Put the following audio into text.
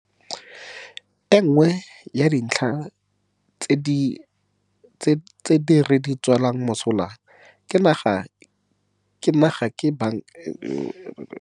E nngwe ya dintlha tse di re tswelang mosola re le naga ke Banka e Kgolo e e e nang le maatla e e ikemetseng ya naga e e kgonneng go dira gore phetogo ya ditlhotlhwa e se tswe mo taolong, gore e se fete eo dinaga tse dingwe di le dintsi mo lefatsheng di itemogelang yona.